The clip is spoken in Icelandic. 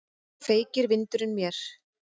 Feykir vindurinn mér.